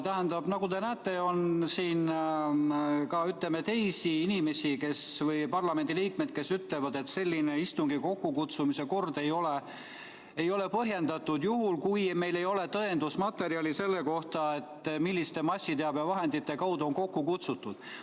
Tähendab, nagu te näete, on siin ka teisi parlamendiliikmeid, kes ütlevad, et selline istungi kokkukutsumise kord ei ole põhjendatud, juhul kui meil ei ole tõendusmaterjali selle kohta, milliste massiteabevahendite kaudu on istung kokku kutsutud.